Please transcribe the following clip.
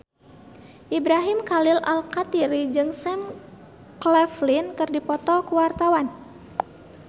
Ibrahim Khalil Alkatiri jeung Sam Claflin keur dipoto ku wartawan